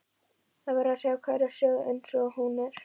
Það verður að segja hverja sögu eins og hún er.